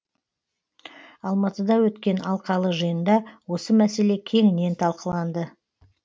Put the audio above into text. алматыда өткен алқалы жиында осы мәселе кеңінен талқыланды